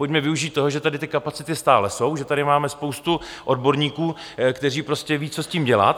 Pojďme využít toho, že tady ty kapacity stále jsou, že tady máme spoustu odborníků, kteří prostě vědí, co s tím dělat.